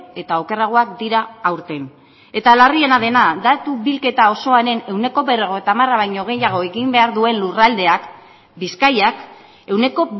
eta okerragoak dira aurten eta larriena dena datu bilketa osoaren ehuneko berrogeita hamara baino gehiago egin behar duen lurraldeak bizkaiak ehuneko